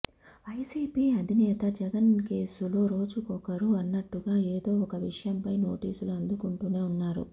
YCP అధినేత జగన్ కేసులో రోజుకొకరు అన్నట్టుగా ఏదో ఒక విషయంపై నోటీసులు అందుకుంటూనే ఉన్నారు